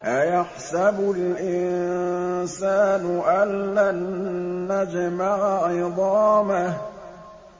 أَيَحْسَبُ الْإِنسَانُ أَلَّن نَّجْمَعَ عِظَامَهُ